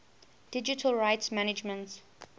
digital rights management